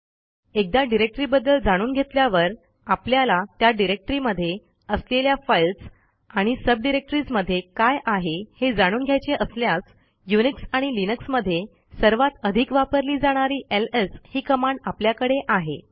एकदा डिरेक्टरीबद्दल जाणून घेतल्यावर आपल्याला त्या डिरेक्टरीमध्ये असलेल्या फाईल्स आणि सबडिरेक्टरीज मध्ये काय आहे हे जाणून घ्यायचे असल्यास युनिक्स आणि लिनक्स मध्ये सर्वात अधिक वापरली जाणारी एलएस ही कमांड आपल्याकडे आहे